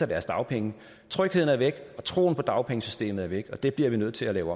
deres dagpenge trygheden er væk troen på dagpengesystemet er væk og det bliver vi nødt til at lave